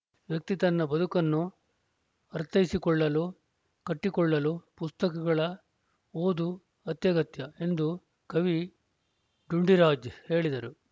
ವ್ಯಕ್ತಿ ತನ್ನ ಬದುಕನ್ನು ಅರ್ಥೈಸಿಕೊಳ್ಳಲು ಕಟ್ಟಿಕೊಳ್ಳಲು ಪುಸ್ತಕಗಳ ಓದು ಅತ್ಯಗತ್ಯ ಎಂದು ಕವಿ ಡುಂಡಿರಾಜ್‌ ಹೇಳಿದರು